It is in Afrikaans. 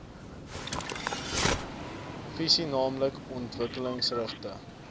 visie naamlik ontwikkelingsgerigte